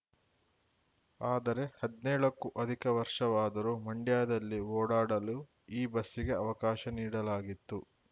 ಆದರೆ ಹದ್ನೇಳಕ್ಕೂ ಅಧಿಕ ವರ್ಷವಾದರೂ ಮಂಡ್ಯದಲ್ಲಿ ಓಡಾಡಲು ಈ ಬಸ್ಸಿಗೆ ಅವಕಾಶ ನೀಡಲಾಗಿತ್ತು